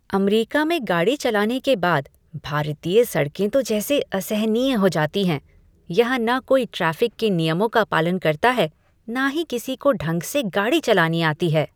अमरीका में गाड़ी चलाने के बाद, भारतीय सड़कें तो जैसी असहनीय हो जाती हैं। यहाँ न कोई ट्रैफिक के नियमों का पालन करता है न ही किसी को ढंग से गाड़ी चलानी आती है।